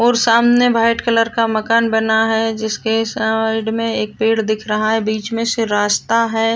और सामने white colour का मकान बना है जिसके साइड में एक पेड़ दिख रहा है बीच में से रास्ता है।